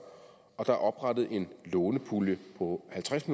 og der er oprettet en lånepulje på halvtreds